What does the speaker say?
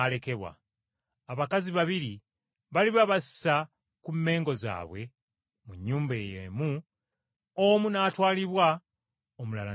Abakazi babiri baliba basa ku mmengo zaabwe mu nnyumba y’emu, omu n’atwalibwa omulala n’alekebwa.”